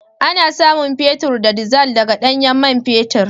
Ana samun man fetur da dizal daga ɗanyen man fetur